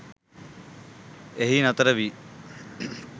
එහි නතර වී